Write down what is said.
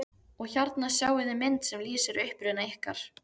Og hérna sjáiði mynd sem lýsir uppruna ykkar.